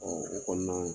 o kɔnɔna